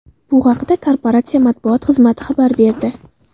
Bu haqda korporatsiya matbuot xizmati xabar berdi .